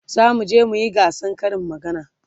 zamu je muyi gasan Karin magana